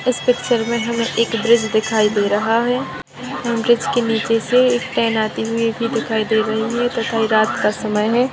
इस पिक्चर में हमें एक ब्रिज दिखाई दे रहा है ब्रिज के नीचे से एक ट्रेन आती हुई भी दिखाई दे रही है तथा ये रात का समय है।